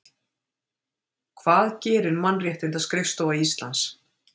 Hvað gerir Mannréttindaskrifstofa Íslands?